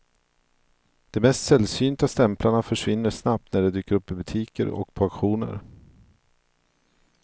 De mest sällsynta stämplarna försvinner snabbt när de dyker upp i butiker och på auktioner.